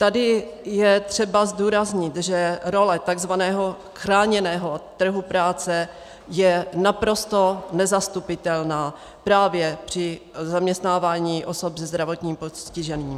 Tady je třeba zdůraznit, že role takzvaného chráněného trhu práce je naprosto nezastupitelná právě při zaměstnávání osob se zdravotním postižením.